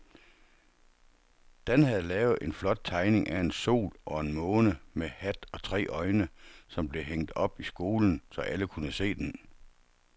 Dan havde lavet en flot tegning af en sol og en måne med hat og tre øjne, som blev hængt op i skolen, så alle kunne se den.